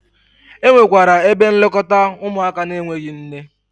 Enwekwara ebe nlekọta ụmụaka n'enweghi nne.